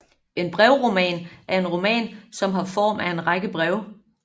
En brevroman er en roman som har form af en række breve